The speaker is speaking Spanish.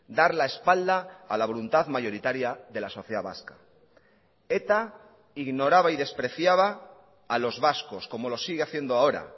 dar la espalda a la voluntad mayoritaria de la sociedad vasca eta ignoraba y despreciaba a los vascos como lo sigue haciendo ahora